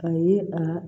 A ye a